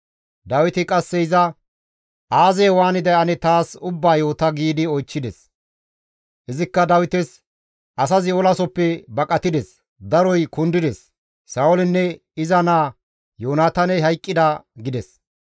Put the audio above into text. Dawiti qasse iza, «Aazee waaniday ane taas ubbaa yoota» giidi oychchides. Izikka Dawites, «Asazi olasoppe baqatides; daroy kundides; Sa7oolinne iza naa Yoonataaney hayqqida» gides.